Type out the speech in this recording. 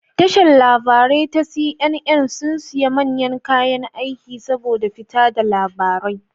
Tashar labarai ta CNN sun siya manyan kayan aiki saboda fita da labarai